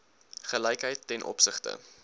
gelykheid ten opsigte